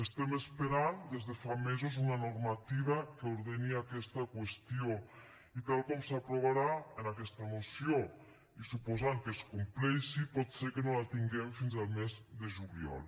estem esperant des de fa mesos una normativa que ordeni aquesta qüestió i tal com s’aprovarà en aquesta moció i suposant que es compleixi pot ser que no la tinguem fins al mes de juliol